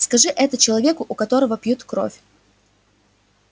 скажи это человеку у которого пьют кровь